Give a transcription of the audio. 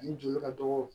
Ani joli ka dɔgɔ